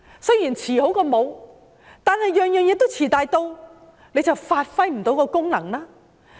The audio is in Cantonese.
雖然"遲好過無"，但每項措施都"遲大到"，便發揮不到功能。